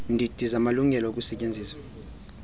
ndidi zamalungelo okusetyenziswa